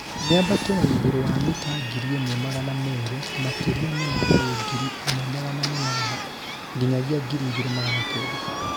Mĩambato ya igũrũ wa mita ngiri ĩmwe magana merĩ makĩria mũno harĩ ngiri ĩmwe magana manana nyinyagia ngiri igĩrĩ magana kenda